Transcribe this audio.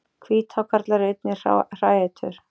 Hvíthákarlar eru einnig hræætur.